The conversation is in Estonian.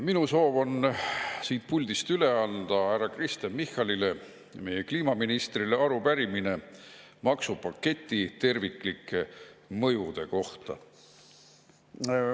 Minu soov on siit puldist üle anda härra Kristen Michalile, meie kliimaministrile, arupärimine maksupaketi terviklike mõjude kohta.